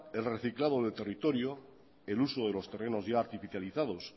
el reciclado de territorio el uso de los terrenos ya artificializados